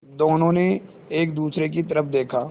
दोनों ने एक दूसरे की तरफ़ देखा